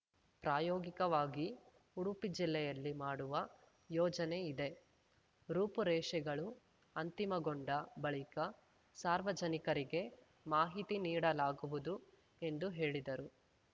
ಪ್ರಾಯೋಗಿಕವಾಗಿ ಉಡುಪಿ ಜಿಲ್ಲೆಯಲ್ಲಿ ಮಾಡುವ ಯೋಚನೆ ಇದೆ ರೂಪುರೇಷೆಗಳು ಅಂತಿಮಗೊಂಡ ಬಳಿಕ ಸಾರ್ವಜನಿಕರಿಗೆ ಮಾಹಿತಿ ನೀಡಲಾಗುವುದು ಎಂದು ಹೇಳಿದರು